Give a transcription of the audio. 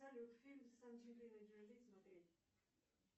салют фильм с анджелиной джоли смотреть